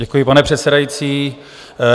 Děkuji, pane předsedající.